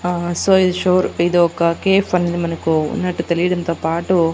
ఆ సో ఈ ఇదొక కేఫ్ అని మనకు ఉన్నట్టు తెలియడంతో పాటు--